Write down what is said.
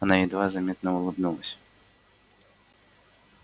она едва заметно улыбнулась